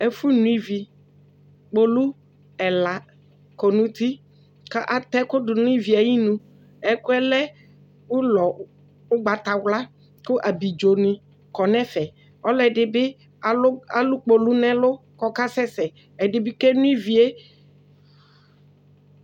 Ɛfʋno ivi Kpolu ɛla kɔ nʋ uti kʋ atɛ ɛkʋ dʋ nʋ ivi yɛ ayinu Ɛkʋ yɛ lɛ ʋlɔ ʋgbatawla kʋ abidzonɩ kɔ nʋ ɛfɛ kʋ ɔlɔdɩ bɩ alʋ kpolu nʋ ɛlʋ kʋ ɔkasɛsɛ Ɛdɩ bɩ keno ivi yɛ